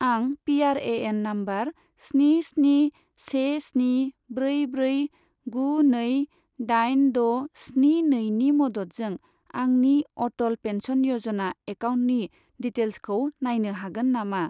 आं PRAN number स्नि स्नि से स्नि ब्रै ब्रै गु नै दाइन द' स्नि नैनि मददजों आंनि अटल पेन्सन य'जना एकाउन्टनि डिटेइल्सखौ नायनो हागोन नामा?